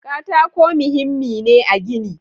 Katako muhimmi ne a gini.